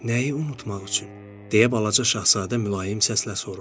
Nəyi unutmaq üçün, deyə Balaca şahzadə mülayim səslə soruşdu.